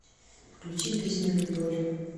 включи песню люболь